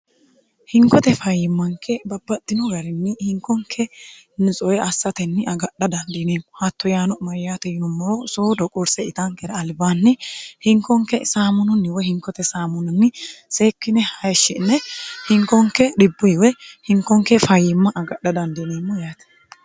hinkote fayyimmanke babbaxxino garinni hinkonke nitsuwe assatenni agadha dandiineemmo hatto yaano mayyaato yinommoro soodo qurse itankera albaanni hinkonke saamununni woy hinkote saamuninni seekkine hayishshi'ne hinkonke dhibbuyi woy hinkonke fayyimma agadha dandiineemmo yaate.